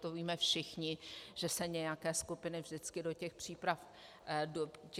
To víme všichni, že se nějaké skupiny vždycky do těch příprav zapojují.